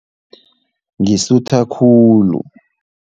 Ngisutha khulu.